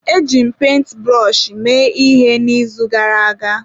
Eji m penti brọshi mee ihe n'izu gara aga.